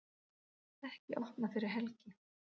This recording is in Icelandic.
Ekki opnað fyrir helgi